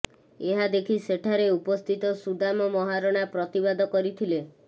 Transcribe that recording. ଏହା ଦେଖି ସେଠାରେ ଉପସ୍ଥିତ ସୁଦାମ ମହାରଣା ପ୍ରତିବାଦ କରିଥିଲେ